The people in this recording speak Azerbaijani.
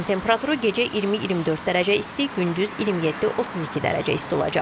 Havanın temperaturu gecə 20-24 dərəcə isti, gündüz 27-32 dərəcə isti olacaq.